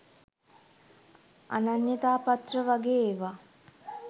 අනන්‍යතා පත්‍ර වගේ ඒවා.